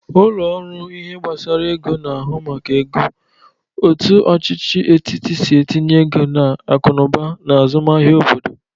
Ụlọ ọrụ ihe gbasara ego na-ahụ maka ego, otu ọchịchị etiti si etinye ego n'akụnụba na azụmahia obodo.